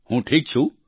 હું ઠીક છું